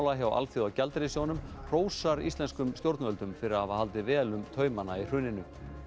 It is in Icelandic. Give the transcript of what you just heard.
hjá Alþjóðagjaldeyrissjóðnum hrósar íslenskum stjórnvöldum fyrir að hafa haldið vel um taumana í hruninu